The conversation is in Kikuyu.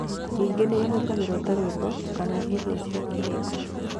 Ningĩ nĩ ĩhũthagĩrũo ta rwĩmbo kana ta irio cia kĩroko.